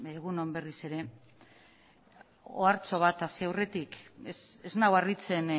egun on berriz ere ohartxo bat hasi aurretik ez nau harritzen